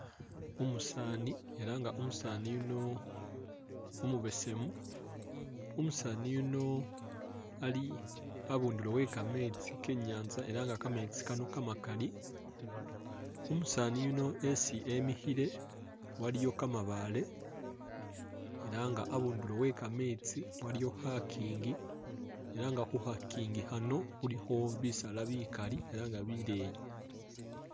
Umusaani, ela nga Umusaani yuno umubesemu, Umusaani yuno ali abundulo we kameetsi ke i'nyaanza ela nga kameetsi kano kamakali, Umusaani yuno esi emikhile waliyo kamabaale, abundulo we kameetsi waliyo khakiingi, khu khakiingi khano khulikho bisaala bikali ela nga bileeyi.